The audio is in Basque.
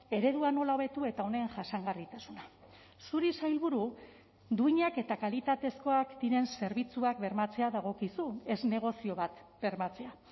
eredua nola hobetu eta honen jasangarritasuna zuri sailburu duinak eta kalitatezkoak diren zerbitzuak bermatzea dagokizu ez negozio bat bermatzea